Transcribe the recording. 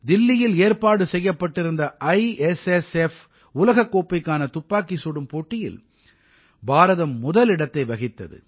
தில்லியில் ஏற்பாடு செய்யப்பட்டிருந்த ஐஎஸ்எஸ்எஃப் உலகக் கோப்பைக்கான துப்பாக்கிச் சுடும் போட்டியில் பாரதம் முதலிடத்தை வகித்தது